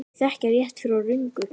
Þau þekkja rétt frá röngu.